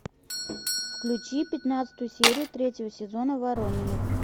включи пятнадцатую серию третьего сезона ворониных